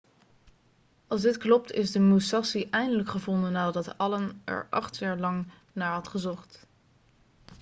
als dit klopt is de musashi eindelijk gevonden nadat allen er acht jaar lang naar had gezocht